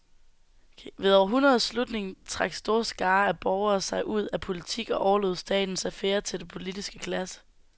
Ved århundredets slutning trak store skarer af borgere sig ud af politik og overlod statens affærer til den politiske klasse.